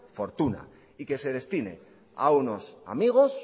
fortuna y que se destine a unos amigos